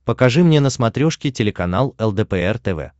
покажи мне на смотрешке телеканал лдпр тв